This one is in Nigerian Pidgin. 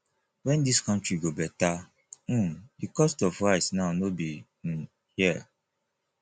when this country go better um the cost of rice now no be um here